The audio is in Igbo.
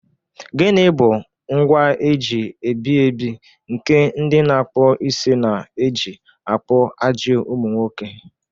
Gịnị bụ ngwa eji ebi ebi nke ndị na-akpụ isi na-eji akpụ ajị ụmụ nwoke?